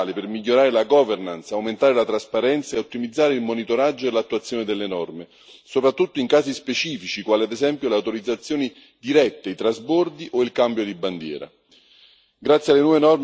Trattasi di norme essenziali per migliorare la governance, aumentare la trasparenza e ottimizzare il monitoraggio e l'attuazione delle norme, soprattutto in casi specifici, quali ad esempio le autorizzazioni dirette, i trasbordi o il cambio di bandiera.